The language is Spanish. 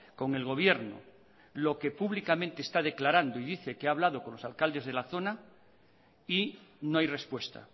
con el gobierno lo que públicamente esta declarando y dice que ha hablado con los alcaldes de la zona y no hay respuesta